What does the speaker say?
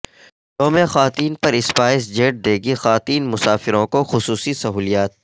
یوم خواتین پر اسپائس جیٹ دے گی خواتین مسافروں کو خصوصی سہولیات